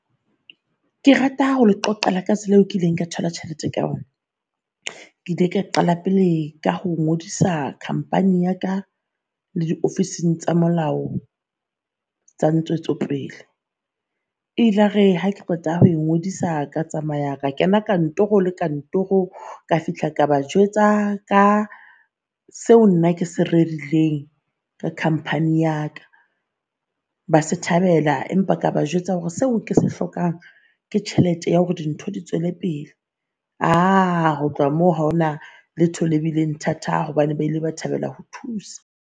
Ke rata ho le qoqela ka tsela eo ke ileng ka thola tjhelete ka hona. Ke ile ka qala pele ka ho ngodisa khampani ya ka le diofising tsa molao tsa ntshwetsopele. E ilare hake qeta ho e ngodisa ka tsamaya ka kena kantoro le kantoro ka fihla ka ba jwetsa ka seo nna ke se rerileng ka khamphani ya ka ba se thabela. Empa ka ba jwetsa hore seo ke se hlokang ke tjhelete ya hore dintho di tswele pele. Uh, ho tloha moo haona letho le bileng thata hobane ba ile ba thabela ho thusa.